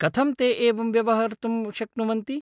कथं ते एवं व्यवहर्तुं शक्नुवन्ति?